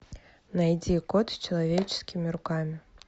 найди кот с человеческими руками